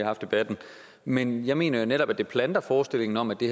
haft debatten men jeg mener netop at det planter forestillingen om at det